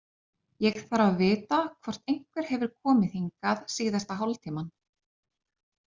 Ég þarf að vita hvort einhver hefur komið hingað síðasta hálftímann.